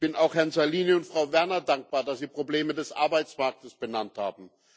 Ich bin auch Herrn Salini und Frau Werner dankbar, dass sie Probleme des Arbeitsmarktes benannt haben.